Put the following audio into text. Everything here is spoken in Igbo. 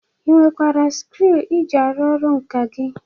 Ị nwekwara skriu iji arụ ọrụ nkà gị?